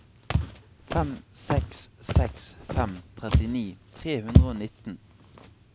fem seks seks fem trettini tre hundre og nitten